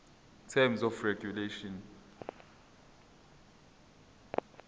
terms of regulation